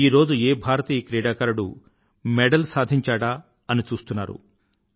ఈరోజు ఏ భారతీయ క్రీడాకారుడు మెడల్ సాధించాడా అని చూస్తున్నారు